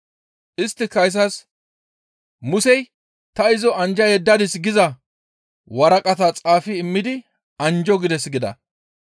Isttika izas, «Musey ta izo anjja yeddadis giza waraqata xaafi immidi anjjo gides» gida.